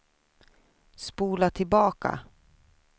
spola tillbaka